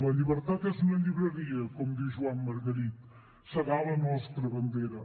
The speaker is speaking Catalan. la llibertat és una llibreria com diu joan margarit serà la nostra bandera